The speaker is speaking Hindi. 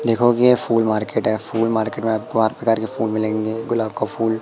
देखोगे ये फुल मार्केट है फुल मार्केट में आपको हर प्रकार के फुल मिलेंगे गुलाब का फूल--